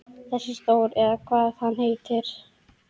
Þessi Þór eða hvað hann heitir.